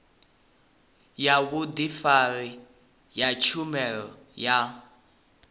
ya vhudifari ya tshumelo ya